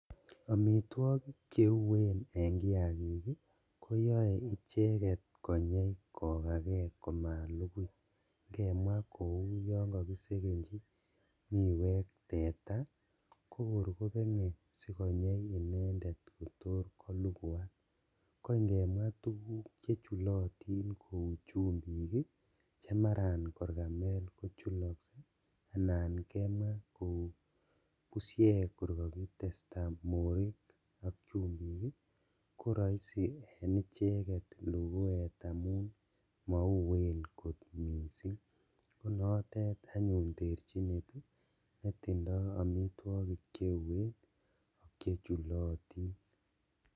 Omitwogik cheuen en kiagik ii koyoe icheket koyai kokaken komalukuik kou ingemwaa kou yon kokisekenji miwek teta kokor kobenge konyei inendet kotor kolukuak, ko ingemwaa tuguk chechulotin kou chumbik ii chemaran kor kamel kochulokse anan kemwaa kou bushek kor kakitestaa morik ok chumbik ii koroisi en icheket lukuet amun mou kot missing' konotet anyun terjinet netindo Omitwogik cheuen ak chechulotin.